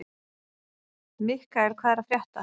Mikkael, hvað er að frétta?